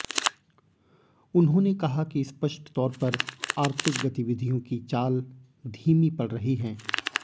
उन्होंने कहा कि स्पष्ट तौर पर आर्थिक गतिविधियों की चाल धीमी पड़ रही हैं